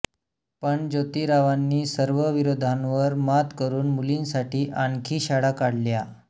पण जोतीरावांनी सर्व विरोधांवर मात करून मुलींसाठी आणखी शाळा काढल्या